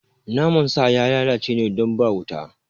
Naman sa ya lalace ne don ba wuta